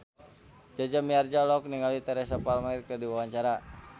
Jaja Mihardja olohok ningali Teresa Palmer keur diwawancara